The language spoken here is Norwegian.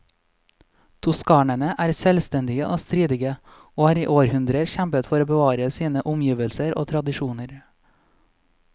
Toskanerne er selvstendige og stridige, og har i århundrer kjempet for å bevare sine omgivelser og tradisjoner.